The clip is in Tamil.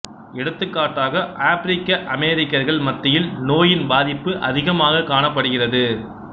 எடுத்துக்காட்டாக ஆப்பிரிக்க அமெரிக்கர்கள் மத்தியில் நோயின் பாதிப்பு அதிகமாகக் காணப்படுகிறது